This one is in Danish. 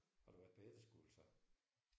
Har du været på efterskole så?